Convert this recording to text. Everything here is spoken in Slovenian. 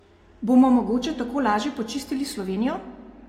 Bomo mogoče tako laže počistili Slovenijo?